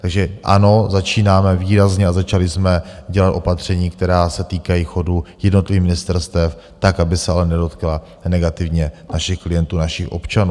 Takže ano, začínáme výrazně a začali jsme dělat opatření, která se týkají chodu jednotlivých ministerstev tak, aby se ale nedotkla negativně našich klientů, našich občanů.